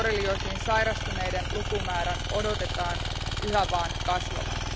Borrelioosiin sairastuneiden lukumäärän odotetaan yhä vaan kasvavan.